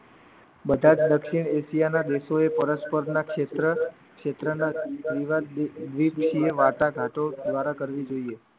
બધા દક્ષિણ એશિયાના દેશો એ પરસ્પરના ક્ષેત્ર વાટાઘાટો દ્વારા કરવી જોઈએ